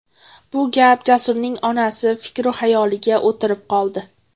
Bu gap Jasurning onasi fikru-xayoliga o‘tirib qoldi.